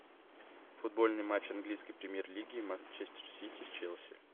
футбольный матч английской премьер лиги манчестер сити с челси